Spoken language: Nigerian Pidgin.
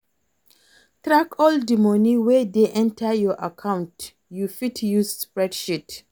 Track all di money wey dey enter your account, you fit use spreadsheet